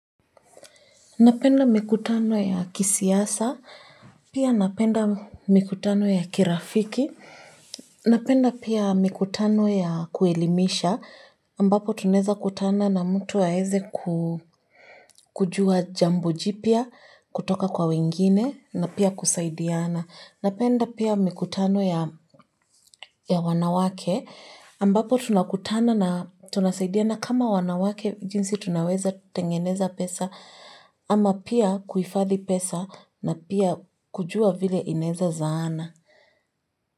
Napenda mikutano ya kisiasa, pia napenda mikutano ya kirafiki, napenda pia mikutano ya kuelimisha, ambapo tunaeza kutana na mtu aeze ku kujua jambo jipya kutoka kwa wengine na pia kusaidiana. Napenda pia mikutano ya wanawake ambapo tunakutana na tunasaidia kama wanawake jinsi tunaweza tengeneza pesa ama pia kuhifadhi pesa na pia kujua vile inaeza zaana.